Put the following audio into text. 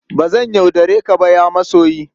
Ba zan yaudare ka ba, ya masoyi!